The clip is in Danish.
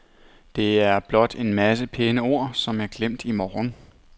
Det er blot en masse pæne ord, som er glemt i morgen.